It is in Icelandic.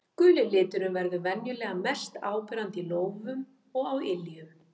Guli liturinn verður venjulega mest áberandi í lófum og á iljum.